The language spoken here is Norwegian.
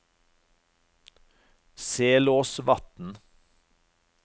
Selåsvatn